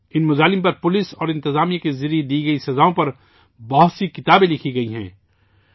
ان مظالم پر پولیس اور انتظامیہ کے ذریعہ دی گئی سزاؤں پر بہت سی کتابیں لکھی گئی ہیں